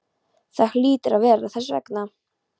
Það hlýtur að vera þess vegna.